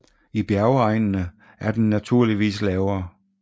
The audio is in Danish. I bjergegnene er den naturligvis lavere